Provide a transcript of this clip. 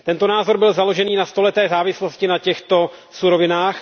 Tento názor byl založený na stoleté závislosti na těchto surovinách.